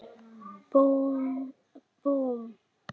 Búmm, búmm.